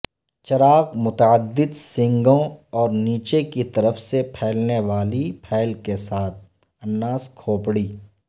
چراغ متعدد سینگوں اور نیچے کی طرف سے پھیلنے والی پھیل کے ساتھ الناس کھوپڑی